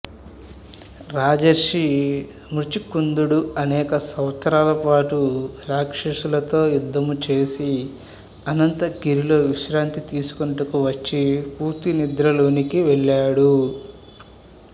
రాజర్షి ముచికుందుడు అనేక సంవత్సరాల పాటు రాక్షసులతో యుద్ధం చేసి అనంతగిరిలో విశ్రాంతి తీసుకొనుటకు వచ్చి పూర్తి నిద్రలోనికి వెళ్తాడు